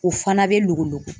O fana be lokoloko.